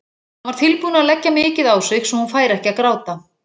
Hann var tilbúinn að leggja mikið á sig svo hún færi ekki að gráta.